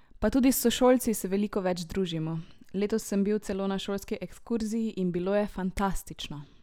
Pa tudi s sošolci se veliko več družimo, letos sem bil celo na šolski ekskurziji in bilo je fantastično!